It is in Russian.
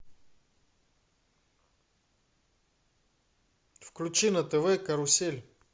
включи на тв карусель